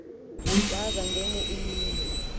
waza ngenye imini